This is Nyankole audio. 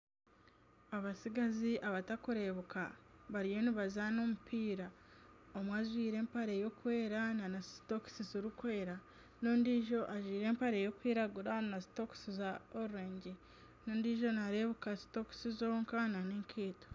Abatsigazi batakureebeka bariyo nibazaana omupiira. Omwe ajwaire empare y'okwera nana sitokisi zikwera. N'ondiijo ajwaire empare y'okwiragura na sitokisi za kacungwa n'ondiijo nareebeka sitokisi zonka nana enkaito.